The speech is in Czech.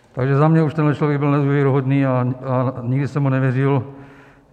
Takže za mě už tenhle člověk byl nevěrohodný a nikdy jsem mu nevěřil.